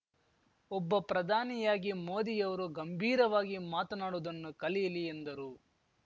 ಒಬ್ಬ ಪ್ರಧಾನಿಯಾಗಿ ಮೋದಿಯವರು ಗಂಭೀರವಾಗಿ ಮಾತನಾಡುವುದನ್ನು ಕಲಿಯಲಿ ಎಂದರು